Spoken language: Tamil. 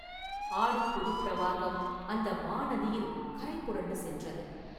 ஆடிப் புதுப் பிரவாகம் அந்த மாநதியில் கரை புரண்டு சென்றது.